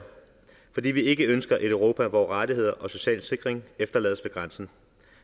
fordi vi ikke ønsker et europa hvor rettigheder og social sikring efterlades ved grænsen